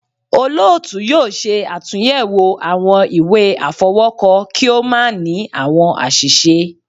Olóòtú yóò ṣe àtúnyẹwò awọn ìwé afọwọkọ, ki o ma ni awọn aṣiṣe